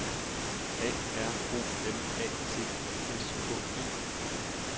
A R O M A T I S K E